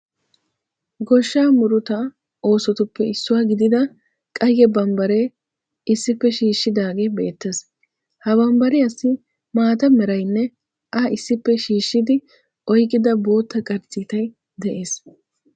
Goshshaa murutaa oosotuppe issuwa gidida qayye bambbaree issippe shiishshidaage beettees. Ha bambbariyaassi maata merayinne A issippe shiishshidi oyqqida bootta qarcciitay de'ees.